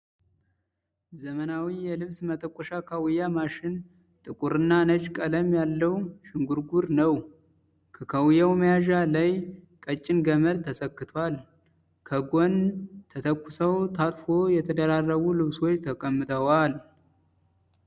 ዘመናዊ የልብስ መተኮሻ ካዉያ ማሽን ጥቁርና ነጭ ቀለም ያለዉ ዥንጉርጉር ነዉ። ከካዉያዉ መያዣ ላይ ቀጭን ገመድ ተሰክቷል። ከጎን ተተኩሰዉ ታጥፎ የተደራረቡ ልብሶች ተቀምጠዋል።